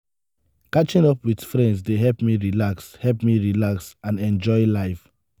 catching up with friends dey help me relax help me relax and enjoy life.